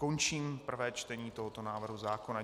Končím prvé čtení tohoto návrhu zákona.